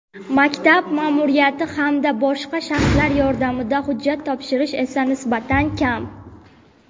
maktab ma’muriyati hamda boshqa shaxslar yordamida hujjat topshirish esa nisbatan kam.